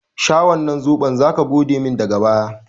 Sha wannan zoɓon! zaka godemin daga baya.